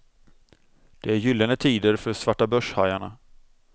Det är gyllene tider för svartabörshajarna.